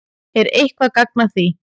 Er eitthvert gagn að því?